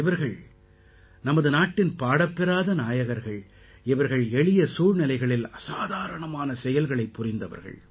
இவர்கள் நமது நாட்டின் பாடப் பெறாத நாயகர்கள் இவர்கள் எளிய சூழ்நிலைகளில் அசாதாரணமான செயல்களைப் புரிந்தவர்கள்